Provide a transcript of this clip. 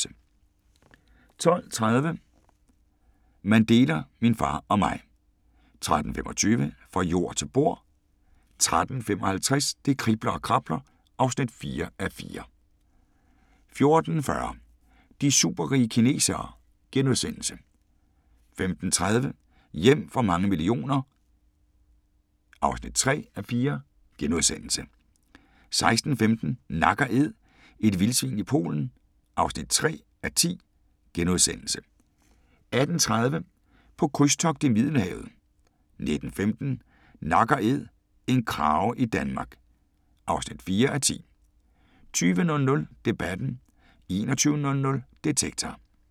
12:30: Mandela – min far og mig 13:25: Fra jord til bord 13:55: Det kribler og krabler (4:4) 14:40: De superrige kinesere * 15:30: Hjem for mange millioner (3:4)* 16:15: Nak & Æd – et vildsvin i Polen (3:10)* 18:30: På krydstogt i Middelhavet 19:15: Nak & æd - en krage i Danmark (4:10) 20:00: Debatten 21:00: Detektor